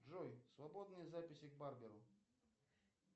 джой свободные записи к барберу